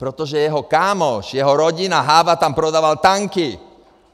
Protože jeho kámoš, jeho rodina, Háva tam prodával tanky!